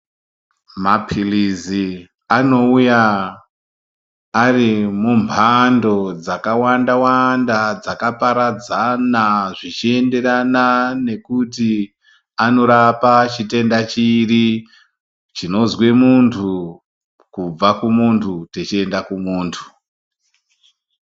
Mapilizi anouya ari mu mhando dzaka wanda wanda dzaka paradzana zvichi enderana nekuti anorapa chitenda chiri chinonzwe muntu kubva ku muntu chichi enda ku muntu.